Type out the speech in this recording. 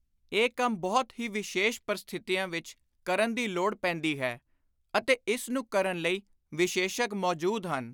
ਇਹ ਕੰਮ ਬਹੁਤ ਹੀ ਵਿਸ਼ੇਸ਼ ਪ੍ਰਸਥਿਤੀਆਂ ਵਿਚ ਕਰਨ ਦੀ ਲੋੜ ਪੈਂਦੀ ਹੈ ਅਤੇ ਇਸ ਨੂੰ ਕਰਨ ਲਈ ਵਿਸ਼ੇਸ਼ੱਗ ਮੌਜੁਦ ਹਨ।